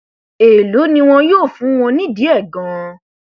èèló ni wọn yóò fún wọn nídìí ẹ ganan